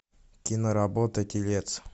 киноработа телец